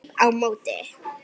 Klíp á móti.